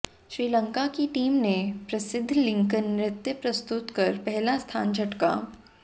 श्रीलंका की टीम ने प्रसिद्ध लंकन नृत्य प्रस्तुत कर पहला स्थान झटका